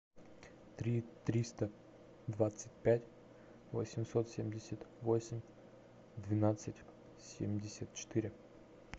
три триста двадцать пять восемьсот семьдесят восемь двенадцать семьдесят четыре